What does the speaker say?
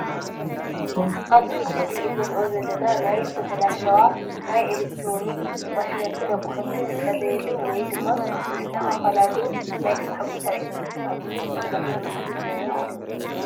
ኣብዚ ምስሊ እንሪኦ ዘለና ናይ ዝተበላሸዋ ናይ ኤሌክትሮኒክ ማሽናችን ኣቑሑትን ዝዕረየሉ ወይ ድማ ዝስተኻኸለሉ ናይ ስራሕ ቦታ እዩ፡፡ ንኣብነት ዝተበላሸወ ፊሪጅ ይረአ ኣሎ፡፡